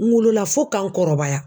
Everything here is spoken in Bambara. N wolola fo ka n kɔrɔbaya.